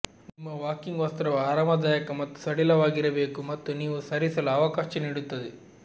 ನಿಮ್ಮ ವಾಕಿಂಗ್ ವಸ್ತ್ರವು ಆರಾಮದಾಯಕ ಮತ್ತು ಸಡಿಲವಾಗಿರಬೇಕು ಮತ್ತು ನೀವು ಸರಿಸಲು ಅವಕಾಶ ನೀಡುತ್ತದೆ